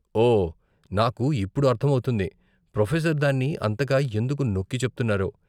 ఓ, నాకు ఇప్పుడు అర్ధం అవుతుంది, ప్రొఫెసర్ దాన్ని అంతగా ఎందుకు నొక్కి చెప్తున్నారో.